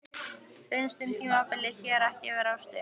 Finnst þér tímabilið hér ekki vera of stutt?